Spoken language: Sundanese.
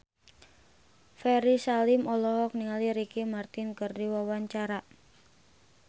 Ferry Salim olohok ningali Ricky Martin keur diwawancara